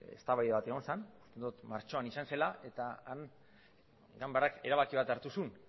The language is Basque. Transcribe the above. eztabaida bat egon zen uste dut martxoan izan zela eta han ganbarak erabaki bat hartu zuen